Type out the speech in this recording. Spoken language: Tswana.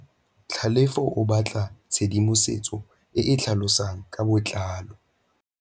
Tlhalefô o batla tshedimosetsô e e tlhalosang ka botlalô.